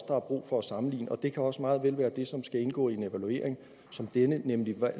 brug for at sammenligne og det kan også meget vel være det som skal indgå i en evaluering som denne nemlig hvad